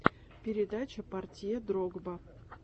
передача портье дрогба